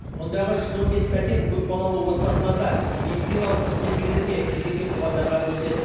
мұндағы жүз он бес пәтер көпбалалы отбасыларға медициналық қызметкерлерге кезекте тұрғандарға бөлінеді